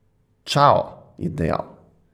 Čao, je dejal.